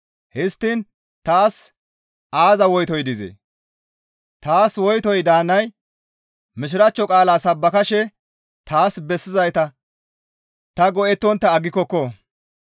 Histtiin taas aaza woytoy dizee? Taas woytoy daanay Mishiraachcho qaalaa sabbakashe taas bessizayta ta go7ettontta aggikokko.